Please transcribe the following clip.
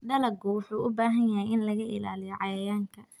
Dalaggu wuxuu u baahan yahay in laga ilaaliyo cayayaanka.